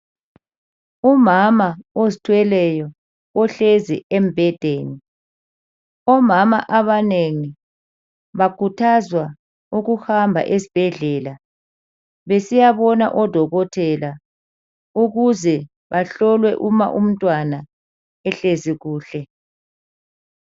Umama ozithweleyo ohlezi embhedeni. Omama abanengi bakhuthazwa ukuhamba esibhedlela besiyabona odokotela ukuze bahlolwe uma umntwana ehlezi kuhle.